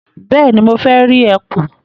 Bẹ́ẹ̀ni, mo fẹ́ rí ẹkùn.